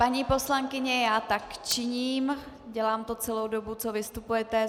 Paní poslankyně, já tak činím, dělám to celou dobu, co vystupujete.